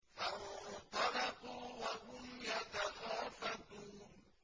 فَانطَلَقُوا وَهُمْ يَتَخَافَتُونَ